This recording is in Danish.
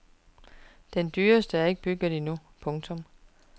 Den dyreste er ikke bygget endnu. punktum